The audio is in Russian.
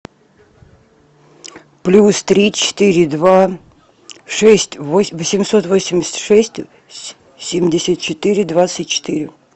плюс три четыре два шесть восемьсот восемьдесят шесть семьдесят четыре двадцать четыре